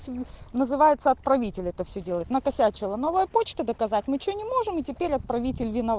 называется отправитель это всё делает накосячила новая почта доказать ничего не можем и теперь отправитель виноват